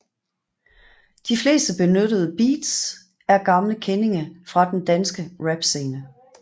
De fleste benyttede beats er gamle kendinge fra den danske rap scene